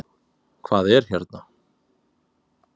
Hvað er hérna?